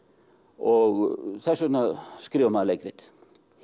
og þess vegna skrifar maður leikrit